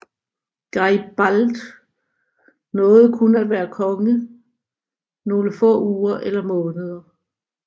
Garibald nåede kun at være konge nogle få uger eller måneder